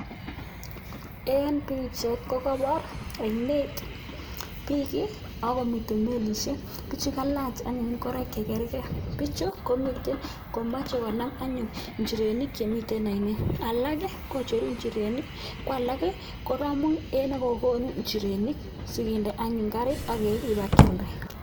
En bichait kokabar ainet bik akomiten melishek bichu ko kalach ingoroik chekergei bichu komiten komache konam anyun inchirenik Chemiten ainet alak koicheru inchirenik kwalak koramu en negokonu inchirenik sikende anyun karit akeba keyalda